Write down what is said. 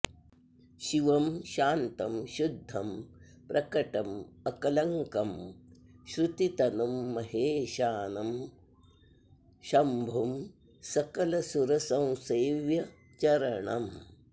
शिवं शान्तं शुद्धं प्रकटमकलङ्कं श्रुतितनुं महेशानं शम्भुं सकलसुरसंसेव्यचरणम्